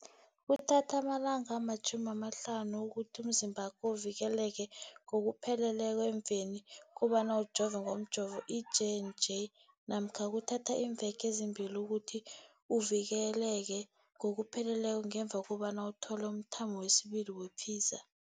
Kuthatha amalanga ama-30 ukuthi umzimbakho uvikeleke ngokupheleleko emveni kobana ujove ngomjovo i-J and J namkha kuthatha iimveke ezimbili ukuthi uvikeleke ngokupheleleko ngemva kobana uthole umthamo wesibili wePfizer.